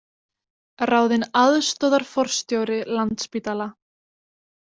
Ráðinn aðstoðarforstjóri Landspítala